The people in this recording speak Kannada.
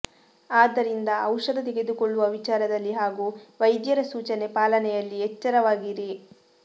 ಆದ್ದರಿಂದ ಔಷಧ ತೆಗೆದುಕೊಳ್ಳುವ ವಿಚಾರದಲ್ಲಿ ಹಾಗೂ ವೈದ್ಯರ ಸೂಚನೆ ಪಾಲನೆಯಲ್ಲಿ ಎಚ್ಚರವಾಗಿರಿ